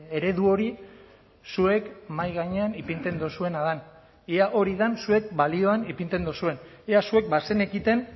eredu hori zuek mahai gainean ipintzen duzuena den ea hori den zuek balioan ipintzen duzuen ea zuek bazenekiten